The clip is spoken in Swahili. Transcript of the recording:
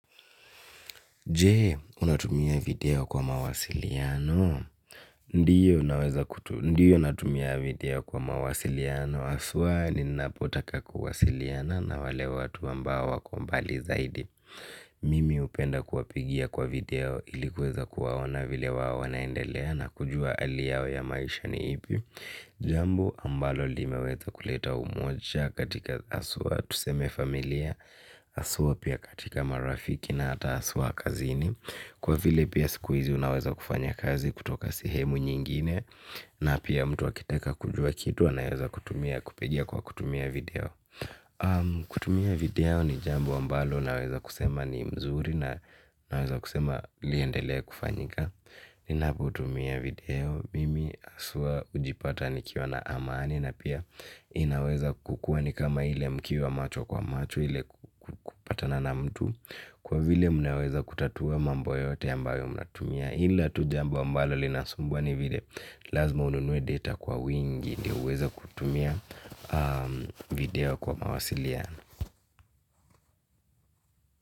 Jee, unatumia video kwa mawasiliano. Ndiyo natumia video kwa mawasiliano. Aswa ninapotaka kwa wasiliana na wale watu ambao wako mbali zaidi. Mimi upenda kuwapigia kwa video ilikuweza kuwaona vile wao wanaendelea na kujua hali yao ya maisha ni ipi. Jambo ambalo limeweza kuleta umoja katika aswa. Tuseme familia aswa pia katika marafiki na ata aswa kazini. Kwa vile pia sikuizi unaweza kufanya kazi kutoka sehemu nyingine. Na pia mtu akitaka kujua kitu unaweza kutumia kutumia video. Kutumia video ni jambo ambalo naweza kusema ni mzuri. Naweza kusema liendelea kufanyika. Ninapotumia video mimi aswa ujipata nikiwa na amani ina pia inaweza kukuwa ni kama ile mkiwa macho kwa macho ile kupatana na mtu lkwa vile manaweza kutatua mambo yoyote ambayo mnatumia ila tu jambo ambalo linasumbua ni vile lazima ununue data kwa wingi ndio uweze kutumia video kwa mawasiliano.